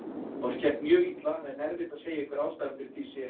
Honum gekk mjög illa en erfitt að segja hver ástæðan fyrir því sé.